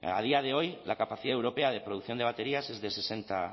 a día de hoy la capacidad europea de producción de baterías es de sesenta